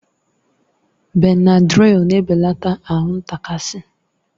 Benadrịl na-ebelata ahụ ntakasi